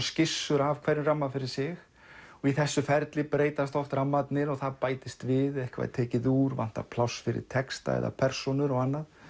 skissur af hverjum ramma fyrir sig og í þessu ferli breytast oft rammarnir og það bætist við eitthvað er tekið úr vantar pláss fyrir texta eða persónur og annað